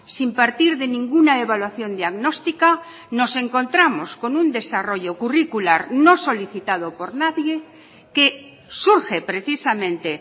sin partir de ninguna evaluación diagnóstica nos encontramos con un desarrollo curricular no solicitado por nadie que surge precisamente